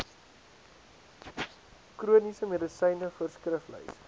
chroniese medisyne voorskriflys